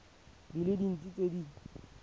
di le dintsi tse di